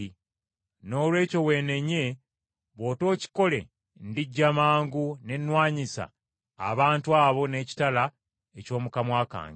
Noolwekyo weenenye, bw’otookikole ndijja mangu ne nnwanyisa abantu abo n’ekitala eky’omu kamwa kange.